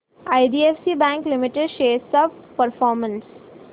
IDFC bank limited shares चा performance